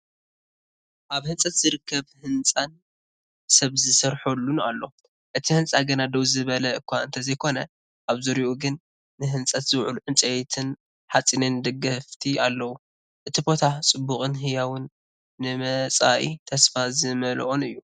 ኣብ ህንፀት ዝርከብ ህንፃን ሰብ ዝሰርሑሉን ኣሎ። እቲ ህንፃ ገና ደው ዝበለ እኳ እንተዘይኮነ፣ ኣብ ዙርያኡ ግን ንህንፀት ዝውዕሉ ዕንጨይትን ሓፂንን ደገፍቲ ኣለው። እቲ ቦታ ጽዑቕን ህያውን ንመጻኢ ተስፋ ዝመልኦን እዩ።